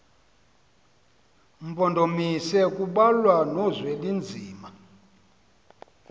mpondomise kubalwa nozwelinzima